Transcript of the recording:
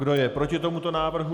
Kdo je proti tomuto návrhu?